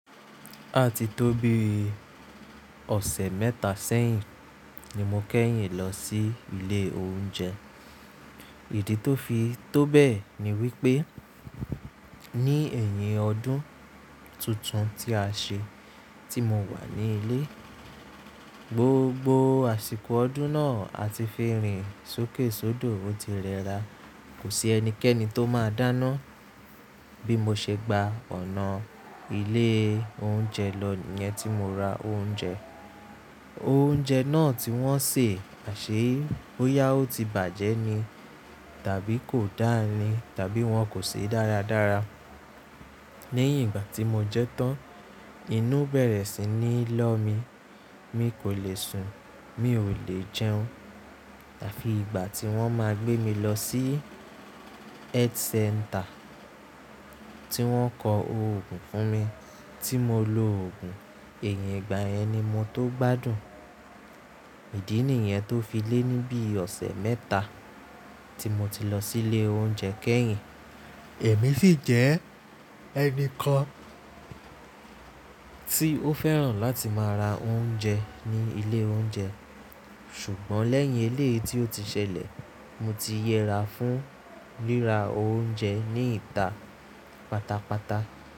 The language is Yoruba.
Àti tó bíi ọ̀sẹ̀ mẹ́ta sẹ́yìn ni mo kẹ́yìn lọ sí ilé oúnjẹ. Ìdí tó fi tó bẹ́ẹ̀ ni wípé ní ẹ̀yìn ọdún tuntun tí a ṣe tí mo wà ní ilé. Gbogbo àsìkò ọdún náà a ti fi rìn sókèsódò, ó ti rẹra. Kò sí ẹnikẹ́ni tó máa dáná. Bí mo ṣe gba ọ̀nà ilé oúnjẹ lọ yẹn tí mo ra oúnjẹ. Oúnjẹ náà tí wọ́n sè àṣé bóyá ó ti bàjẹ́ ni tàbí kò dáa ni tàbí wọ́n kò sè é dáradára. Lẹ́yìn ìgbà tí mo jẹ́ tán, inú bẹ̀rẹ̀ sí ní lọ́ mi. Mi kò le sùn, mi ò le jẹun. Àfí ìgbà tí wọ́n máa gbé mi lọ sí health center tí wọ́n kọ oògùn fún mi tí mo lo oògùn, ẹ̀yìn ìgbà yẹn ni mo tó gbádùn. Ìdí nìyẹn tó fi lé ní bí ọ̀sẹ̀ mẹ́ta tí mo ti lọ sí ilé oúnjẹ kẹ́yìn. Èmi sì jẹ́ ẹni kan tí ó fẹ́ràn láti máa ra oúnjẹ ní ilé oúnjẹ. Ṣùgbọ́n lẹ́yìn eléyìí tí ó ti ṣẹlẹ̀, mo ti yẹra fún rírà oúnjẹ ní ìta pátápátá.